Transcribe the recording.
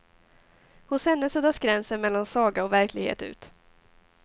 Hos henne suddas gränsen mellan saga och verklighet ut.